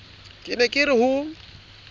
ke ne ke re ho